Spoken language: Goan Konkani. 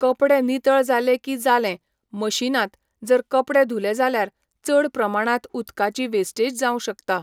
कपडे नितळ जाले की जालें मशिनांत जर कपडे धुले जाल्यार चड प्रमाणांत उदकाची वेस्टेज जावं शकता.